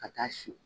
Ka taa si